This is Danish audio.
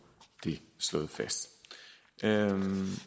det slået fast så er